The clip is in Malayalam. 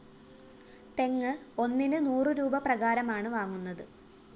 തെങ്ങ് ഒന്നിന് നൂറുരൂപ പ്രകാരമാണ് വാങ്ങുന്നത്